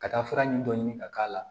Ka taa fura nin dɔ ɲini ka k'a la